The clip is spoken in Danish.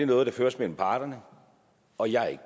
noget der føres mellem parterne og jeg